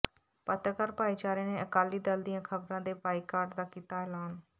ਪੱਤਰਕਾਰ ਭਾਈਚਾਰੇ ਨੇ ਅਕਾਲੀ ਦਲ ਦੀਆਂ ਖਬਰਾਂ ਦੇ ਬਾਈਕਾਟ ਦਾ ਕੀਤਾ ਐਲਾਨ